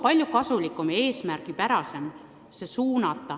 Oleks kasulikum ja eesmärgipärasem.